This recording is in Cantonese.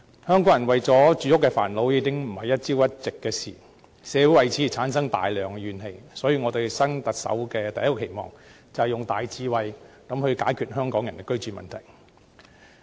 香港人為住屋煩惱，已非一朝一夕的事情，社會為此產生大量怨氣，所以我對新任特首的第一個期望，是要用大智慧解決香港人的居住問題。